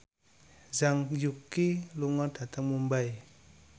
Zhang Yuqi lunga dhateng Mumbai